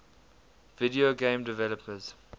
video game developers